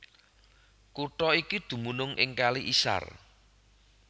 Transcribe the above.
Kutha iki dumunung ing Kali Isar